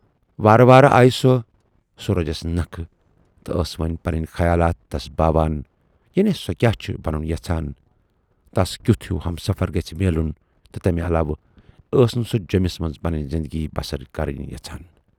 وارٕ وارٕ آیہِ سۅ سورجس نَکھٕ تہٕ ٲس وۅنۍ پنٕنۍ خیالات تَس باوان یعنی سۅ کیاہ چھِ بنُن یَژھان، تس کیُتھ ہیوٗ ہمسفر گژھِ میلُن تہٕ تمہِ علاوٕ ٲس نہٕ سۅ جیمِس منز پنٕنۍ زِندگی بسر کَرٕنۍ یَژھان۔